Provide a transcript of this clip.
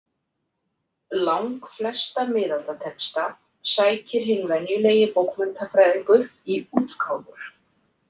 Langflesta miðaldatexta sækir hinn venjulegi bókmenntafræðingur í útgáfur.